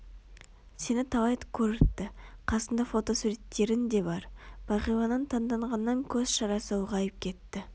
сені талай көріпті Қасында фотосуреттерің де бар бағиланың таңданғаннан көз шарасы ұлғайып кетті